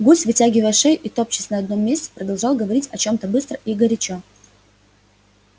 гусь вытягивая шею и топчась на одном месте продолжал говорить о чём-то быстро и горячо